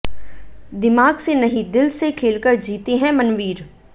दिमाग से नहीं दिल से खेलकर जीते हैं मनवीर